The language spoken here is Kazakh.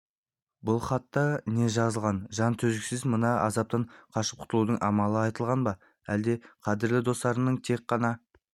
бұл хатта не жазылған жан төзгісіз мына азаптан қашып құтылудың амалы айтылған ба әлде қадірлі достардың тек қана